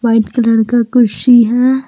White colour का कुर्सी है।